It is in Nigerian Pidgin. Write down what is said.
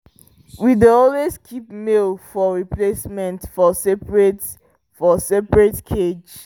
we dey always keep male for replacement for seperate for seperate cage